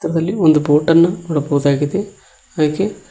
ದಲ್ಲಿ ಒಂದು ಬೋಟನ್ನು ನೋಡಬಹುದಾಗಿದೆ ಹಾಗೆ--